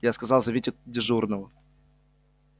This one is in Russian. я сказал зовите дежурного